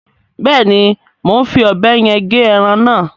Beeni, mo n fí òbé yen ge eran na